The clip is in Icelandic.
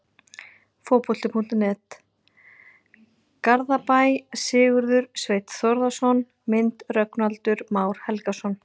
Fótbolti.net, Garðabæ- Sigurður Sveinn Þórðarson Mynd: Rögnvaldur Már Helgason